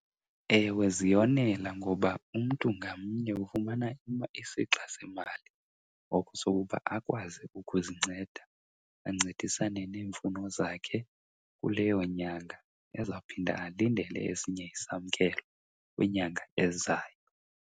Ewe, ziyonela ngoba umntu ngamnye ufumana isixa semali ngoko sokuba akwazi ukuzinceda ancedisane neemfuno zakhe kuleyo nyanga, ezawuphinda alindele esinye isamkelo kwinyanga ezayo.